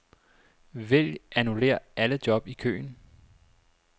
Vælg annullér alle job i køen.